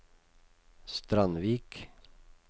Strandvik